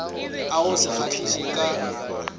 a go se kgahliše ka